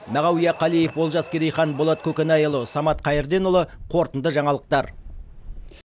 мағауия қалиев олжас керейхан болат көкенайұлы самат қайырденұлы қорытынды жаңалықтар